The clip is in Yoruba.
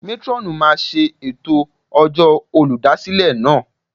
Métrọ́ọ̀nù máa ṣe ètò ọjọ́ olùdásílẹ̀ náà.